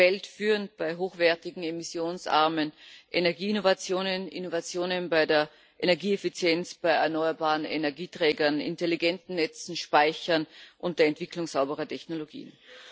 weltführend bei hochwertigen emissionsarmen Energieinnovationen, Innovationen bei der Energieeffizienz, bei erneuerbaren Energieträgern, intelligenten Netzen, Speichern und der Entwicklung sauberer Technologien.